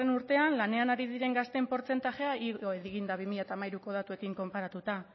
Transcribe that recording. urtean lanean ari diren gazteen portzentajea igo egin dira bi mila hamairuko datuekin konparatuta